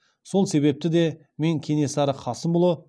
сол себепті де мен кенесары қасымұлы